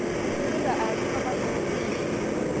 Kaloito aanyu papa tenkoitei